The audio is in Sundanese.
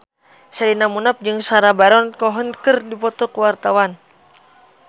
Sherina Munaf jeung Sacha Baron Cohen keur dipoto ku wartawan